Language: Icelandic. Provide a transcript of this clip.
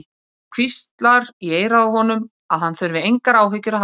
Og hvíslar í eyrað á honum að hann þurfi engar áhyggjur að hafa.